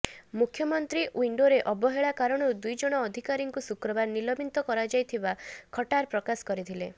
ମୁଖ୍ୟମନ୍ତ୍ରୀ ୱିଣ୍ଡୋରେ ଅବହେଳା କାରଣରୁ ଦୁଇ ଜଣ ଅଧିକାରୀଙ୍କୁ ଶୁକ୍ରବାର ନିଲମ୍ବିତ କରାଯାଇଥିବା ଖଟ୍ଟାର ପ୍ରକାଶ କରିଥିଲେ